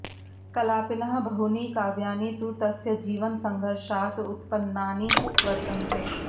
कलापिनः बहूनि काव्यानि तु तस्य जीवनसङ्घर्षात् उत्पन्नानि वर्तन्ते